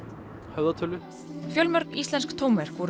höfðatölu fjölmörg íslensk tónverk voru